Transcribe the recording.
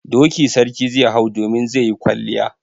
Doki sarki zai hau domin zai yi kwalliya.